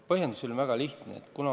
Põhjendus on väga lihtne.